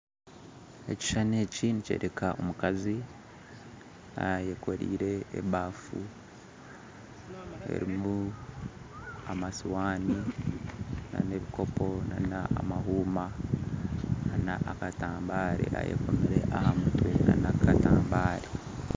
Ekishuushani eki nikyoreka omukazi ayekoreire abaafu erimu amasiihani n'ebikoopo n'amahuuma ayekomire aha mutwe n'akatambare